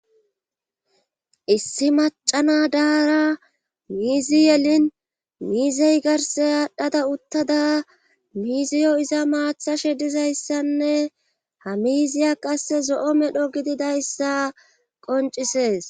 Issi macana daara miizi yelin miizey garse aadhdhada uttada miiziyo iza maathashe dizayssanne ha miziya qasse zo7o medho gididayssa qoncisees.